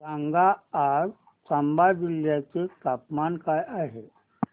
सांगा आज चंबा जिल्ह्याचे तापमान काय आहे